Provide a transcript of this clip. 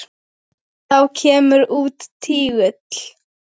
Þá kemur út tígull.